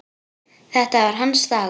Þetta var hans dagur.